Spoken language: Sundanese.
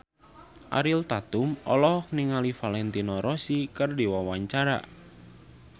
Ariel Tatum olohok ningali Valentino Rossi keur diwawancara